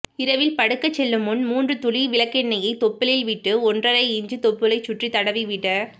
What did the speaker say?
இரவில் படுக்க செல்லும் முன் மூன்று துளி விளக்கெண்ணெய் தொப்புளில் விட்டு ஒன்றரை இன்ச் தொப்புளை சுற்றி தடவிவிட